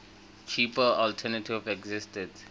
cheaper alternative existed